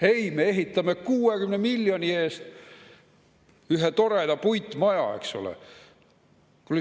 Ei, me ehitame 60 miljoni eest ühe toreda puitmaja, eks ole.